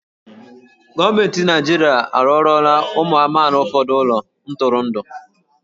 Gọọmenti Naịjirịa arụọlọla ụmụ amaala ụfọdụ ụlọ ntụrụndụ.